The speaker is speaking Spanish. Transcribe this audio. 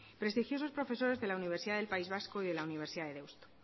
prestigiosos profesores de la universidad del país vasco y de la universidad de deusto